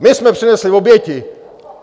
My jsme přinesli oběti!